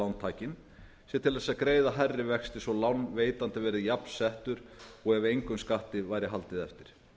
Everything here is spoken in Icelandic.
lántaki sig til að greiða hærri vexti svo að lánveitandi verði jafnsettur og ef engum skatti væri haldið eftir